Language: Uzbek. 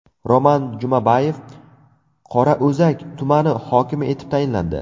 Roman Jumabayev Qorao‘zak tumani hokimi etib tayinlandi.